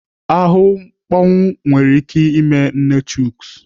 Ahụ mkpọnwụ nwere ike ime nne Chuks.